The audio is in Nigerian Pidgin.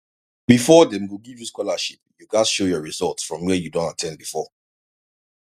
before dem go give you scholarship you gats show your school result from where you don at ten d before